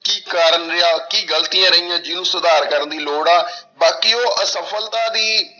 ਕੀ ਕਾਰਨ ਰਿਹਾ, ਕੀ ਗ਼ਲਤੀਆਂ ਰਹੀਆਂ, ਜਿਹਨੂੰ ਸੁਧਾਰ ਕਰਨ ਦੀ ਲੋੜ ਆ, ਬਾਕੀ ਉਹ ਅਸਫ਼ਲਤਾ ਦੀ